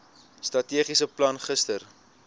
strategiese plan gister